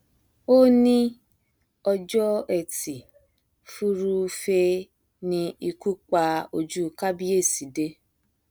ó ní ọjọ etí furuufee ni ikú pa ojú kábíyèsí dé